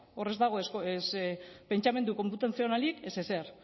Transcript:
hor ez dago pentsamendu konputazionalik ez ezer